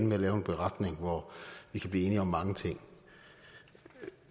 med at lave en beretning hvor vi kan blive enige om mange ting